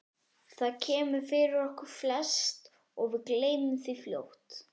Það kemur fyrir okkur flest og við gleymum því fljótt.